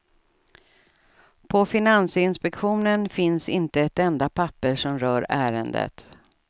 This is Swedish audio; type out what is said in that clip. På finansinspektionen finns inte ett enda papper som rör ärendet.